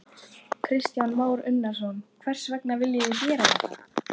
Kristján Már Unnarsson: Hvers vegna viljið þið gera þetta?